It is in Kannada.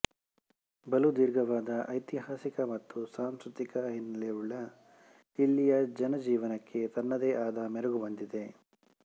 ಬಲು ದೀರ್ಘವಾದ ಐತಿಹಾಸಿಕ ಮತ್ತು ಸಾಂಸ್ಕೃತಿಕ ಹಿನ್ನೆಲೆಯುಳ್ಳ ಇಲ್ಲಿಯ ಜನಜೀವನಕ್ಕೆ ತನ್ನದೇ ಆದ ಮೆರುಗು ಬಂದಿದೆ